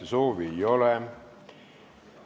Kõnesoove ei ole.